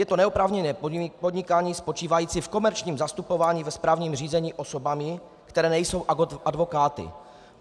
Je to neoprávněné podnikání spočívající v komerčním zastupování ve správním řízení osobami, které nejsou advokáty.